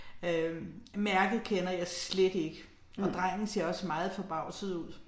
Øh mærket kender jeg slet ikke, og drengen ser også meget forbavset ud